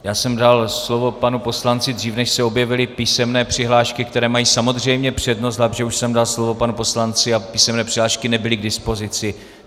Já jsem dal slovo panu poslanci dřív, než se objevily písemné přihlášky, které mají samozřejmě přednost, takže už jsem dal slovo panu poslanci a písemné přihlášky nebyly k dispozici.